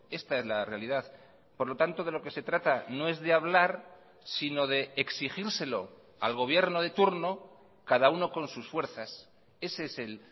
esta es la realidad por lo tanto de lo que se trata no es de hablar sino de exigírselo al gobierno de turno cada uno con sus fuerzas ese es el